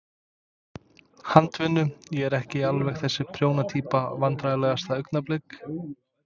Handavinnu, ég er ekki alveg þessi prjóna týpa Vandræðalegasta augnablik?